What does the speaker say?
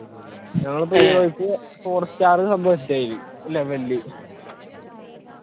four star